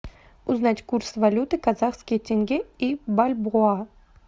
узнать курс валюты казахский тенге и бальбоа